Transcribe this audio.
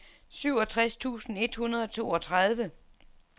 syvogtres tusind et hundrede og toogtredive